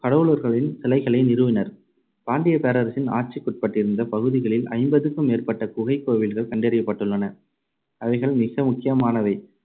கடவுளர்களின் சிலைகளை நிறுவினர். பாண்டியப் பேரரசின் ஆட்சிக்குட்பட்டிருந்த பகுதிகளில் ஐம்பதுக்கும் மேற்பட்ட குகைக் கோவில்கள் கண்டறியப்பட்டுள்ளன. அவைகளில் மிக முக்கியமானவை